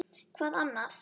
Hvað annað?